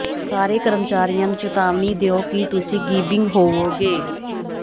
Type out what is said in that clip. ਸਾਰੇ ਕਰਮਚਾਰੀਆਂ ਨੂੰ ਚੇਤਾਵਨੀ ਦਿਓ ਕਿ ਤੁਸੀਂ ਗਿੱਬਿੰਗ ਹੋਵੋਗੇ